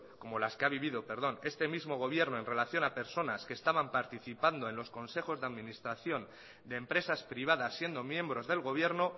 como las que ha vivido perdón este mismo gobierno en relación a personas que estaban participando en los consejos de administración de empresas privadas siendo miembros del gobierno